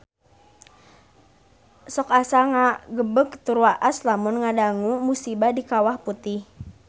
Sok asa ngagebeg tur waas lamun ngadangu musibah di Kawah Putih